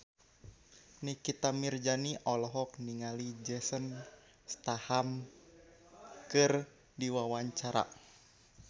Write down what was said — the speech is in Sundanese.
Nikita Mirzani olohok ningali Jason Statham keur diwawancara